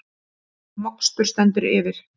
Mokstur stendur yfir